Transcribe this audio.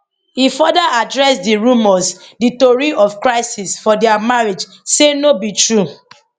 e further address di rumours di tori of crisis for dia marriage say no be true